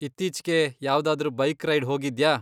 ಇತ್ತೀಚ್ಗೆ ಯಾವ್ದಾದ್ರೂ bike ride ಹೋಗಿದ್ಯಾ?